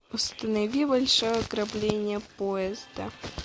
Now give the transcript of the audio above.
установи большое ограбление поезда